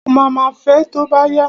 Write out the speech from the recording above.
Ó ma ma fẹ tó bá yá.